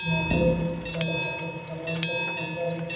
यहां पर एक बड़ा सा पत्थर है पत्थर पर--